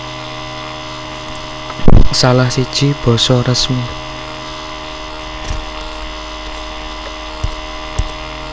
Salah siji basa resmi